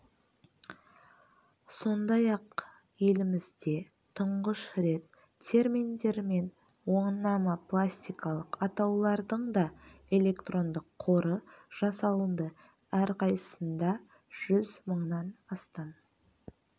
сондай-ақ елімізде тұңғыш рет терминдер мен онамастикалық атаулардың да электрондық қоры жасалынды әрқайсысында жүз мыңнан астам